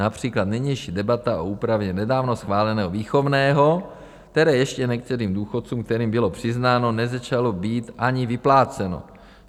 Například nynější debata o úpravě nedávno schváleného výchovného, které ještě některým důchodcům, kterým bylo přiznáno, nezačalo být ani vypláceno.